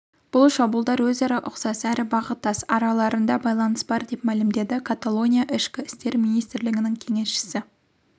бұл шабуылдар өзара ұқсас әрі бағыттас араларында байланыс бар деп мәлімдеді каталония ішкі істер министрлігінің кеңесшісі